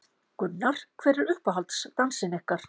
Gunnar: Hver er uppáhalds dansinn ykkar?